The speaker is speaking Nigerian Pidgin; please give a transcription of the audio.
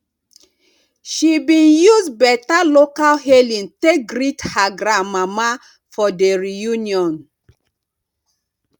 she bin use beta local hailing take greet her grand mama for the reunion